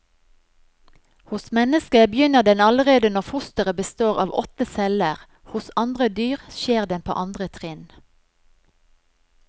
Hos mennesket begynner den allerede når fosteret består av åtte celler, hos andre dyr skjer den på andre trinn.